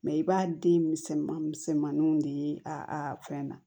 i b'a den misɛnnin misɛnninw de ye a fɛn na